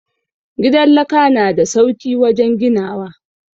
Gidan laka na da sauki wajen ginawa.